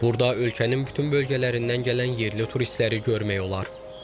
Burada ölkənin bütün bölgələrindən gələn yerli turistləri görmək olar.